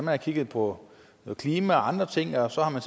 har kigget på klima og andre ting og så har man